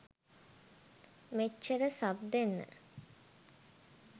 මෙච්චර සබ් දෙන්න